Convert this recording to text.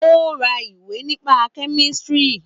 Ó ra ìwé nípa kẹ́mísìrì